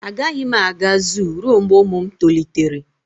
A gaghị m aga zoo ruo mgbe ụmụ m tolitere